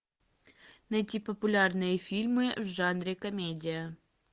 найти популярные фильмы в жанре комедия